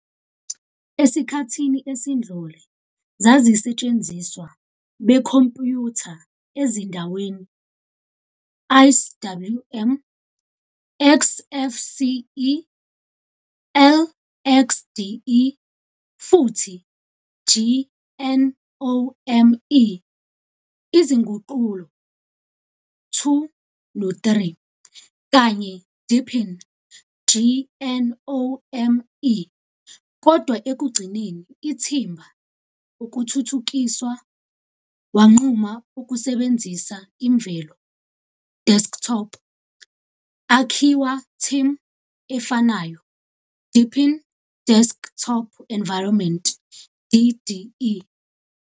Esikhathini esidlule zazisetshenziswa bekhompuyutha ezindaweni IceWM, Xfce, LXDE futhi GNOME, izinguqulo 2 no 3, kanye DeepinGNOME, kodwa ekugcineni ithimba ukuthuthukiswa wanquma ukusebenzisa imvelo desktop akhiwa team efanayo, Deepin Desktop Environment, DDE.